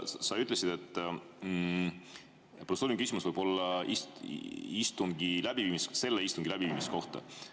Sa ütlesid, et protseduuriline küsimus võib olla selle istungi läbiviimise kohta.